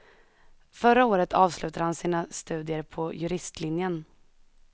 Förra året avslutade han sina studier på juristlinjen.